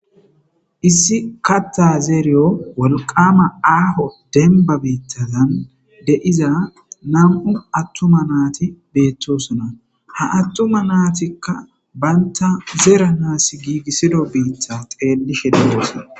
Issi katta zeeriyo walqama aaho denba beittazan de7iza nam7u attuma naati beettosona ha attuma naatikka banta zeera naas giigissido biitha xeelishe deosona.